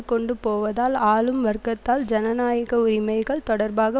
கொண்டு போவதால் ஆளும் வர்க்கத்தால் ஜனநாயக உரிமைகள் தொடர்பாக